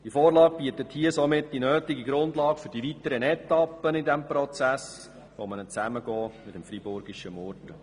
Diese Vorlage bietet die notwendige Grundlage für die weiteren Etappen im Prozess der Zusammenlegung mit dem freiburgeschen Murten.